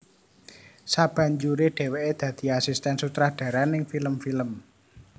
Sabanjure dheweke dadi asisten sutradara ning film film